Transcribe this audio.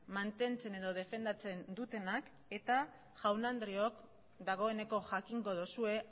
mantentzen edo defendatzen dutenak eta jaun andreok dagoeneko jakingo duzue